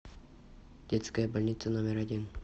детская больница номер один